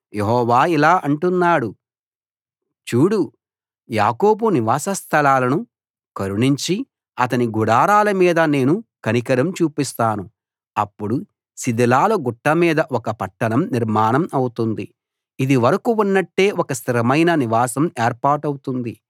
యెహోవా ఇలా అంటున్నాడు చూడు యాకోబు నివాసస్థలాలను కరుణించి అతని గుడారాల మీద నేను కనికరం చూపిస్తాను అప్పుడు శిథిలాల గుట్ట మీద ఒక పట్టణం నిర్మాణం అవుతుంది ఇదివరకు ఉన్నట్టే ఒక స్థిరమైన నివాసం ఏర్పాటవుతుంది